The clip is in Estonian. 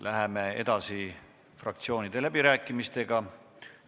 Läheme edasi fraktsioonide läbirääkimistega.